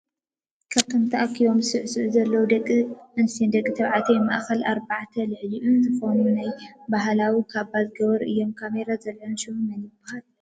ካብቶም ታኣኪቦም ዝስዕስዑ ዘለው ደቂ ኣንስትዮን ደቂ ተባዕትዮን ማእከልኣርባዕተን ልዕልኡን ዝኮኑ ናይ ባህላው ካባ ዝገበሩ እዮም። ካሜራ ዘልዐሎም ሽሙ መን ይብሃል?